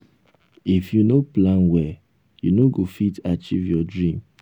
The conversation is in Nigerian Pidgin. no dey talk with anyhow person online unto say bad people full everywhere